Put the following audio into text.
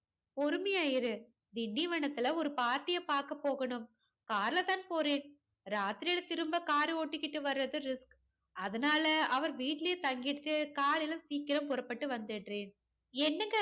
பொறுமையா இரு திண்டிவனத்துல ஒரு party ய பாக்க போகணும் car லதான் போறேன் ராத்திரில திரும்ப car ஓட்டிகிட்டு வராது risk அதனால அவர் வீட்டுலையே தங்கிட்டு காலைல சீக்கிரம் புறப்பட்டு வந்துட்றேன் என்னங்க